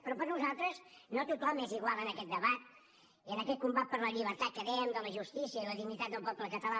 però per nosaltres no tothom és igual en aquest debat i en aquest combat per la llibertat que dèiem de la justícia i la dignitat del poble català